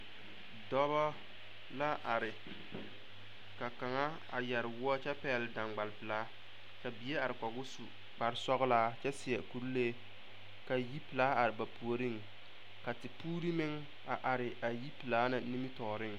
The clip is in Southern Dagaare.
Dɔba la are ka kaŋa a yɛre woɔ kyɛ pɛgle daŋbalpelaa ka bie are kɔge o su kparesɔglaa kyɛ seɛ kurilee ka yipelaa are ba puoriŋ ka tepuure meŋ a are a yipelaa na nimitɔɔreŋ.